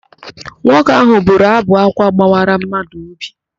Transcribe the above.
Nwoke ahụ bụrụ ábụ̀ ákwá gbawara madụ óbì.